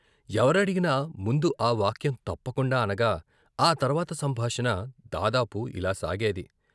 ఎవరడిగినా ముందు ఆ వాక్యం తప్పకుండా అనగా ఆ తర్వాత సంభాషణ దాదాపు ఇలా సాగేది.